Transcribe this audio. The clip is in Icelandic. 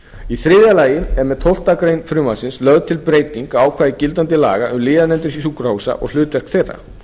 í þriðja lagi er með tólfta grein frumvarpsins lögð til breyting á ákvæði gildandi laga um lyfjanefndir sjúkrahúsa og hlutverk þeirra